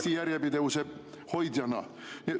Eesti järjepidevuse hoidjana.